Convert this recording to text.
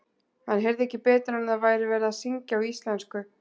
Hann heyrði ekki betur en að það væri verið að syngja á íslensku.